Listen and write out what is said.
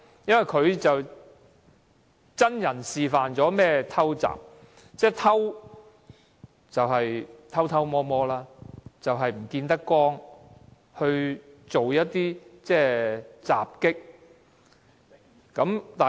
因為他真人示範何謂"偷襲"，"偷"就是偷偷摸摸，不能見光，去"襲擊"。